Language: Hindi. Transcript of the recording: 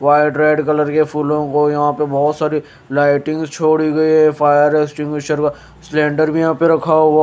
वाइट रेड कलर की फूलों को यहाँ पे बहुत सारी लाइटिंग छोड़ी गई है फायर एक्सटीन्गुइशेर व सिलेंडर भी यहाँ पे रखा हुआ --